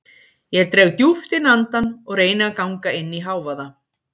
Ég dreg djúpt inn andann og reyni að ganga inn í hávaða